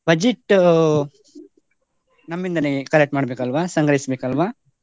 Budget ನಮ್ಮಿಂದನೇ collect ಮಾಡ್ಬೇಕಲ್ವ ,ಸಂಗ್ರಹಿಸ್ಬೇಕಲ್ವ?